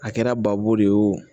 A kɛra babu de ye o